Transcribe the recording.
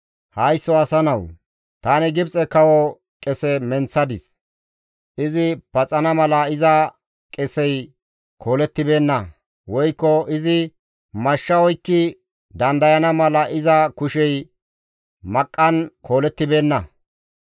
«Haysso asa nawu! Tani Gibxe kawo qese menththadis; izi paxana mala iza qesey koolettibeenna; woykko izi mashsha oykki dandayana mala iza kushey maqqan koolettibeenna.